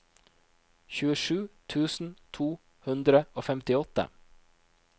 tjuesju tusen to hundre og femtiåtte